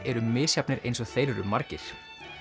eru misjafnir eins og þeir eru margir